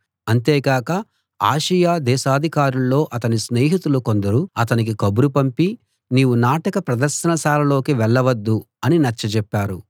అంతేగాక ఆసియా దేశాధికారుల్లో అతని స్నేహితులు కొందరు అతనికి కబురు పంపి నీవు నాటక ప్రదర్శనశాలలోకి వెళ్ళవద్దు అని నచ్చజెప్పారు